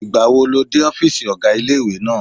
Ìgbàwo lo dé ọ́fìsì ọ̀gá ilé-ìwé náà?